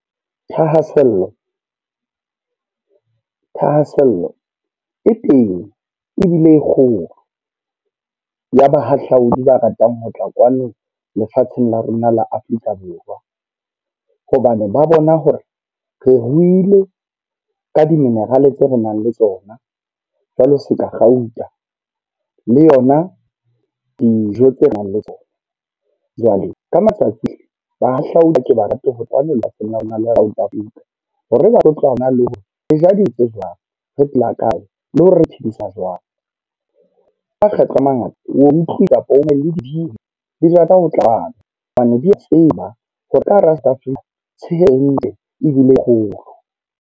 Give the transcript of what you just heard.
Thahasello, thahasello e teng ebile e kgolo ya bahahlaodi ba ratang ho tla kwano lefatsheng la rona la Afrika Borwa. Hobane ba bona hore re ruile ka di-mineral tse re nang le tsona, jwalo se ka kgauta le yona dijo tse re nang le tsona. Jwale ka matsatsi bahahlaodi ke ba rate ho tloha hore ba tlo tloha hona le hore re ja di etse jwang. Re phela kae le hore re thusa jwang. Makgetlo a mangata, o utlwe kapa o na le dibini, tsa ho tlabana hobane di tseba tshehe ntle ebile e kgolo.